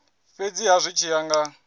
fhedziha zwi tshi ya nga